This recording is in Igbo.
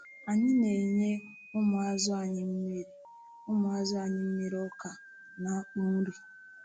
Anyị na-enye ụmụazụ anyị mmiri ụmụazụ anyị mmiri ọka na akpụ nri.